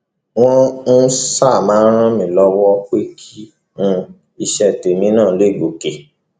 wọn um áà ṣáà máa ràn mí lọwọ pé kí um iṣẹ tèmi náà lè gòkè